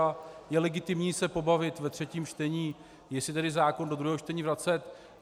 A je legitimní se pobavit ve třetím čtení, jestli tedy zákon do druhého čtení vracet.